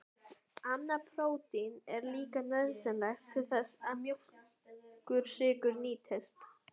Annað prótín er líka nauðsynlegt til þess að mjólkursykur nýtist.